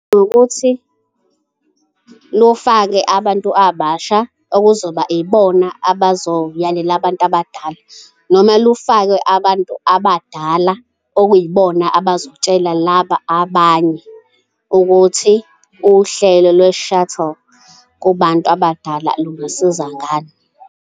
Nokuthi lufake abantu abasha okuzoba ibona abazoyalela abantu abadala noma lufakwe abantu abadala okuyibona abazotshela laba abanye ukuthi uhlelo lwe-shuttle kubantu abadala lungasiza ngani.